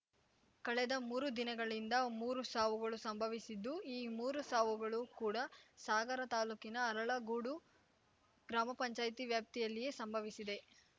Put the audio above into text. ಕಳೆದ ಮೂರು ದಿನಗಳಿಂದ ಮೂರು ಸಾವುಗಳು ಸಂಭವಿಸಿದ್ದು ಈ ಮೂರು ಸಾವುಗಳು ಕೂಡ ಸಾಗರ ತಾಲೂಕಿನ ಅರಳಗೋಡು ಗ್ರಾಮಪಂಚಾಯ್ತಿ ವ್ಯಾಪ್ತಿಯಲ್ಲಿಯೇ ಸಂಭವಿಸಿವೆ